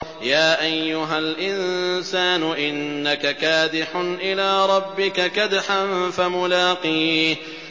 يَا أَيُّهَا الْإِنسَانُ إِنَّكَ كَادِحٌ إِلَىٰ رَبِّكَ كَدْحًا فَمُلَاقِيهِ